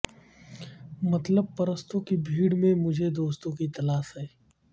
مطلب پرستوں کی بھیڑ میں مجھے دوستوں کی تلاش ہے